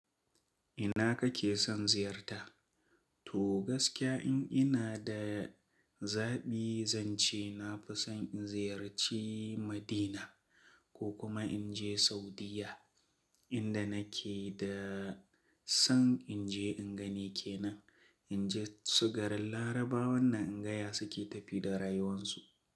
Ina kake son ziyarta? To gaskiya in ina da zaɓi zan ce na fi son in ziyarci Madina ko kuma in je Saudiyya inda nake da son in je in gani ke nan. In je su garin Larabawan na in ga ya suke tafi da rayuwansu.